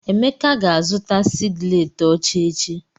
Emeka ga-azụta sịgiletị ọcha echi.